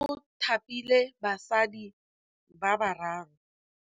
Mothapi wa Lefapha la Thutô o thapile basadi ba ba raro.